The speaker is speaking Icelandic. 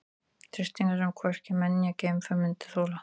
Þrýstingur sem hvorki menn né geimför myndu þola.